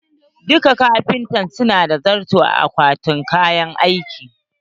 Duka kafintoci su na da zarto a akwatin kayan aikin su.